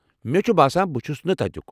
مے٘ چُھ باسان بہٕ چُھس نہٕ تتُِیٚك ۔